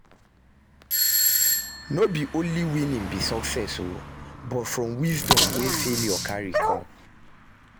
No be only winning be success o but from wisdom wey failure cari com